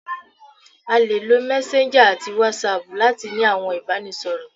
À le lò messenger ati whatsapp latí ní àwọn ibanisọrọ